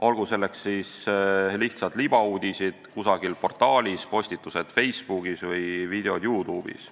Olgu selleks lihtsad libauudised kusagil portaalis, postitused Facebookis või videod YouTube'is.